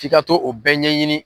F'i ka to o bɛɛ ɲɛɲini.